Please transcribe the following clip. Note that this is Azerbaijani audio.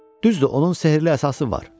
Düzdür, onun sehrli əsası var.